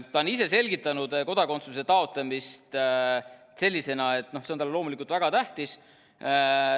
Ta ise on selgitanud kodakondsuse taotlemist selliselt, et see on talle loomulikult väga tähtis.